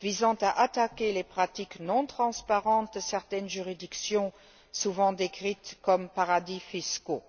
visant à attaquer les pratiques non transparentes de certaines juridictions, souvent décrites comme paradis fiscaux.